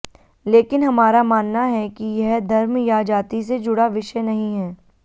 लेकिन हमारा मानना है कि यह धर्म या जाति से जुड़ा विषय नहीं है